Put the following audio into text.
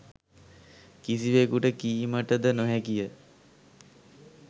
කිසිවෙකුට කීමටද නොහැකිය